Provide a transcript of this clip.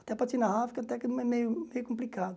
Até, até que é meio meio complicado.